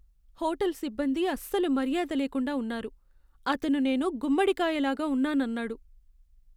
Hotel సిబ్బంది అస్సలు మర్యాద లేకుండా ఉన్నారు. అతను నేను గుమ్మడికాయ లాగా ఉన్నానన్నాడు.